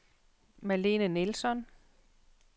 Malene Nilsson